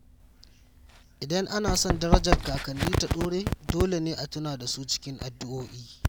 Idan ana son darajar kakanni ta dore, dole ne a tuna da su cikin addu’o’i.